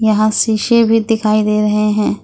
यहां शीशे भी दिखाई दे रहे हैं।